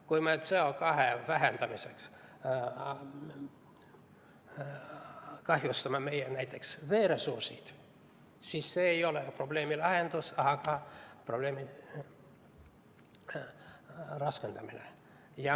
Kui me CO2 vähendamiseks kahjustame näiteks meie veeressursse, siis see ei ole probleemi lahendus, vaid probleemi raskendamine.